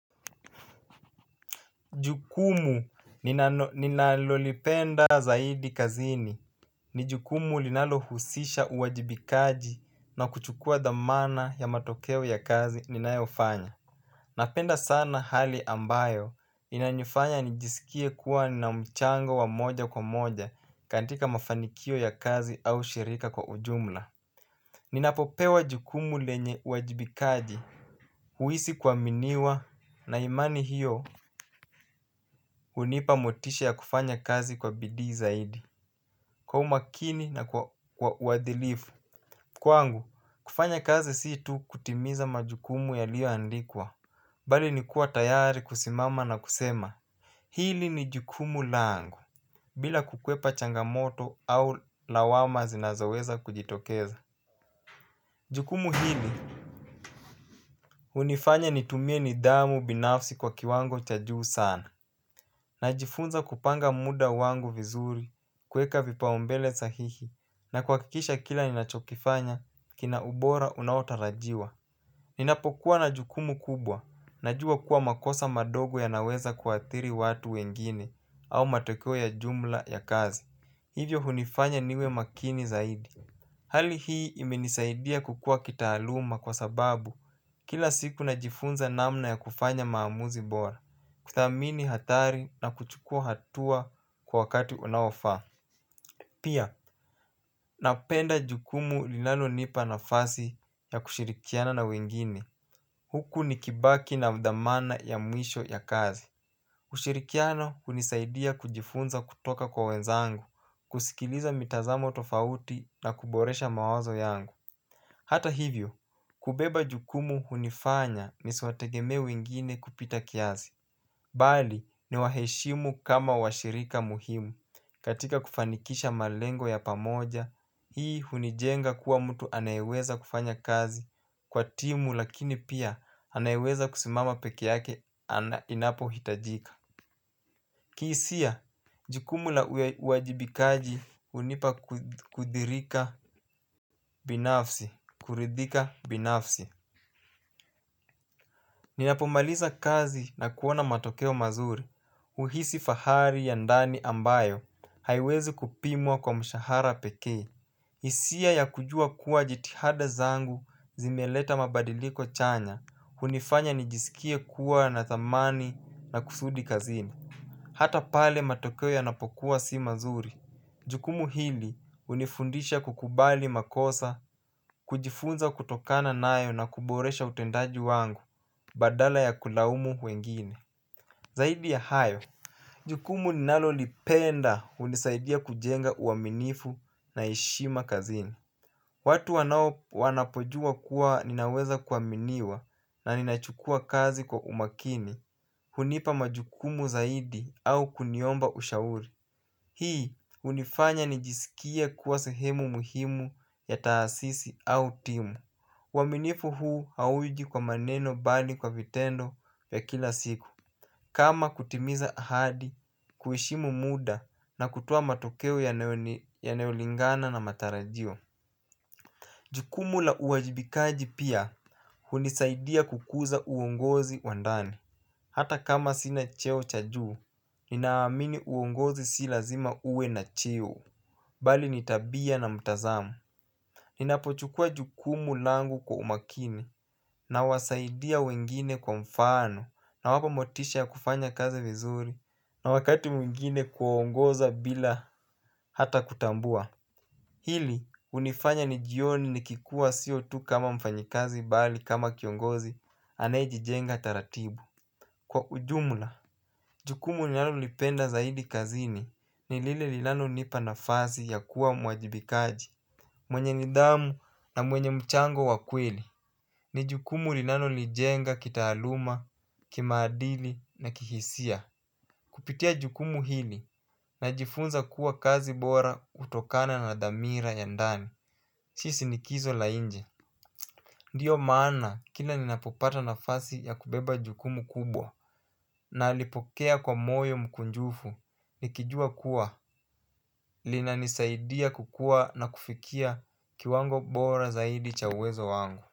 Jukumu ninalolipenda zaidi kazini. Ni jukumu linalohusisha uwajibikaji na kuchukua dhamana ya matokeo ya kazi ninayofanya. Napenda sana hali ambayo inanifanya nijisikie kuwa nina mchango wa moja kwa moja katika mafanikio ya kazi au shirika kwa ujumla. Ninapopewa jukumu lenye uwajibikaji huisi kuwaminiwa na imani hiyo hunipa motisha ya kufanya kazi kwa bidii zaidi kwa umakini na kwa uwadilifu. Kwangu kufanya kazi si tu kutimiza majukumu yaliyoandikwa bali nikua tayari kusimama na kusema. Hili ni jukumu langu bila kukwepa changamoto au lawama zinazoweza kujitokeza. Jukumu hili unifanya nitumie nidhamu binafsi kwa kiwango cha juu sana. Najifunza kupanga muda wangu vizuri kuweka vipaumbele sahihi na kuwakikisha kila ninachokifanya kina ubora unaotarajiwa. Ninapokuwa na jukumu kubwa, najua kuwa makosa madogo yanaweza kuathiri watu wengine au matokeo ya jumla ya kazi. Hivyo hunifanya niwe makini zaidi. Hali hii imenisaidia kukua kitaaluma kwa sababu kila siku najifunza namna ya kufanya maamuzi bora. Kuthamini hathari na kuchukua hatua kwa wakati unaofaa. Pia, napenda jukumu linalo nipa nafasi ya kushirikiana na wengine. Huku nikibaki nadhamana ya mwisho ya kazi kushirikiana unisaidia kujifunza kutoka kwa wenzangu. Kusikiliza mitazamo tofauti na kuboresha mawazo yangu. Hata hivyo, kubeba jukumu unifanya nisiwategemee wengine kupita kiasi. Bali ni waheshimu kama washirika muhimu katika kufanikisha malengo ya pamoja. Hii hunijenga kuwa mtu anayeweza kufanya kazi kwa timu lakini pia anayeweza kusimama peke yake inapo hitajika. Kihisia jikumu la uwajibikaji unipa kudhirika binafsi, kuridhika binafsi. Ninapomaliza kazi na kuona matokeo mazuri uhisi fahari ya ndani ambayo haiwezi kupimwa kwa mshahara pekee. Hisia ya kujua kuwa jitihada zangu zimieleta mabadiliko chanya unifanya nijisikie kuwa na thamani na kusudi kazini. Hata pale matokeo yanapokuwa si mazuri jukumu hili unifundisha kukubali makosa kujifunza kutokana nayo na kuboresha utendaji wangu. Badala ya kulaumu wengine. Zaidi ya hayo. Jukumu ninalo lipenda unisaidia kujenga uwaminifu na heshima kazini. Watu wanao wanapojua kuwa ninaweza kuwaminiwa na ninachukuwa kazi kwa umakini. Hunipa majukumu zaidi au kuniomba ushauri. Hii unifanya nijisikie kuwa sehemu muhimu ya taasisi au timu uwaminifu huu hauji kwa maneno bali kwa vitendo ya kila siku. Kama kutimiza ahadi kuhishimu muda na kutoa matokeo yanayolingana na matarajio. Jukumu la uwajibikaji pia hunisaidia kukuza uongozi wa ndani. Hata kama sina cheo cha juu, ninaamini uongozi si lazima uwe na cheo. Bali ni tabia na mtazamo. Ninapochukua jukumu langu kwa umakini na wasaidia wengine kwa mfano nawapa motisha ya kufanya kazi vizuri na wakati mwingine kuwaongoza bila hata kutambua. Hili unifanya nijione nikikua sio tu kama mfanyikazi bali kama kiongozi anayejijenga taratibu. Kwa ujumla jukumu ninalolipenda zaidi kazini ni lile linalonipa nafasi ya kuwa mwajibikaji mwenye nidhamu na mwenye mchango wa kweli. Ni jukumu linalonijenga kitaaluma, kimaadili na kihisia. Kupitia jukumu hili najifunza kuwa kazi bora hutokana na dhamira ya ndani. Si shinikizo la inje. Ndiyo maana kila ninapopata nafasi ya kubeba jukumu kubwa nalipokea kwa moyo mkunjufu, nikijua kuwa, linanisaidia kukua na kufikia kiwango bora zaidi cha uwezo wangu.